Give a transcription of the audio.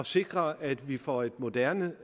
sikre at vi får et moderne